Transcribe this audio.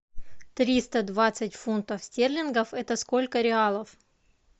триста двадцать фунтов стерлингов это сколько реалов